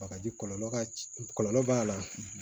Bagaji kɔlɔlɔ ka c kɔlɔlɔ b'a la